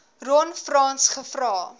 ron frans gevra